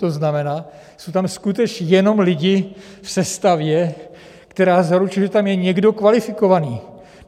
To znamená, jsou tam skutečně jenom lidi v sestavě, která zaručuje, že tam je někdo kvalifikovaný.